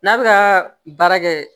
N'a bɛ ka baara kɛ